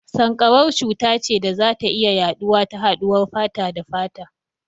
Sanƙarau cuta ce da za ta iya yaɗuwa ta haɗuwar fata da fata.